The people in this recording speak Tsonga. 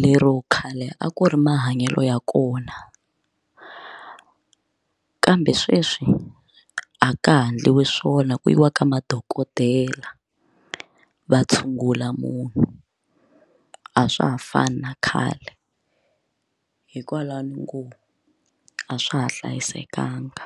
lero khale a ku ri mahanyelo ya kona kambe sweswi a ka ha endliwi swona ku yiwa ka madokodela va tshungula munhu a swa ha fani na khale hikwalaho ni ngo a swa ha hlayisekanga.